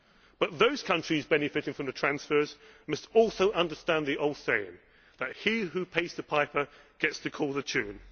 But those countries benefiting from the transfers must also understand the old saying that he who pays the piper gets to call the